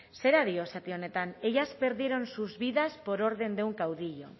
zera dio zati honetan ellas perdieron sus vidas por orden de un caudillo